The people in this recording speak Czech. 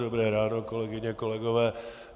Dobré ráno, kolegyně, kolegové.